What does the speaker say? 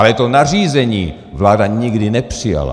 Ale to nařízení vláda nikdy nepřijala.